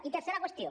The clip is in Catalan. i tercera qüestió